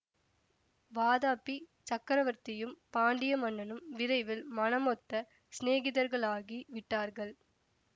வாதாபிச் சக்கரவர்த்தியும் பாண்டிய மன்னனும் விரைவில் மனமொத்த சிநேகிதர்களாகி விட்டார்கள்